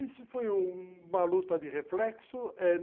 Isso foi uma luta de reflexo é